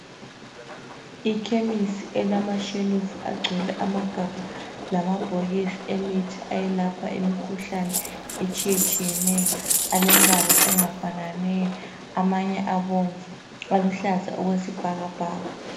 Ikhemisi elama shelufu agcwele amagabha lama bhokisi emithi ayelapha imikhuhlane etshiyetshiyeneyo . Alembala engafananiyo amanye abomvu aluhlaza okwesibhakabhaka.